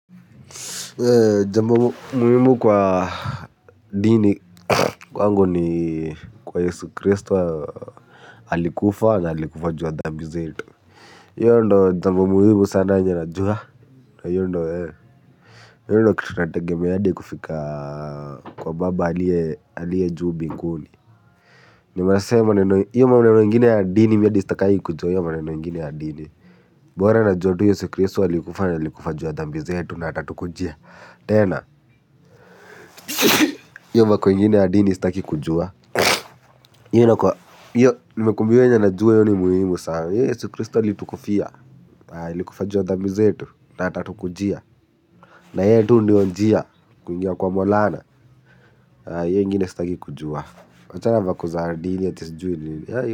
Jamb muhimu kwa dini kwangu ni kwa Yesu Christo alikufa na alikufa ju ya dhambi zetu. Io ndo jambo muhimu sana yenye najua. Io ee io ndo kitu nategemea adi kufika kwa baba alie aliye juu mbinguni. Unaona sasa hio maneno ingine ya dini mimi hadi sitakangi kujua hio maneno ingine ya dini. Bora najua tu Yesu kristo alikufa na alikufa ju ya dhambi zetu na atatukujia. Tena, hiyo vako ingine ya dini sitaki kujua hiyo, nimekuambia hiyo yenye najua hio ni muhimu sana hio Yesu Kristo alitukufia, alikufa juu ya dhambi zetu. Na atatu kujia. Na yeye tu ndio njia kuingia kwa maulana hio ingine sitaki kujua wachana na vako za dini ati sijui nini.